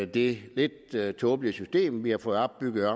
det lidt tåbelige system vi har fået opbygget